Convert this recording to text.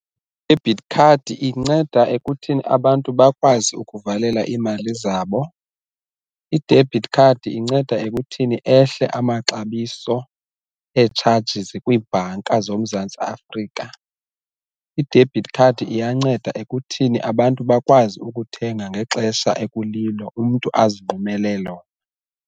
I-debit card inceda ekuthini abantu bakwazi ukuvalela imali zabo, i-debit card inceda ekuthini ehle amaxabiso etshajizi kwiibhanka zoMzantsi Afrika, i-debit card iyanceda ekuthini abantu bakwazi ukuthenga ngexesha ekulilo umntu azinqumele lona.